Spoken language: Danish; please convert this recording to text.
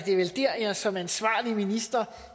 det vel dér jeg som ansvarlig minister